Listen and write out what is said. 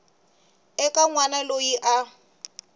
eka n wana loyi a